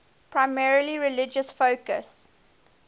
primarily religious focus